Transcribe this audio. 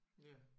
Ja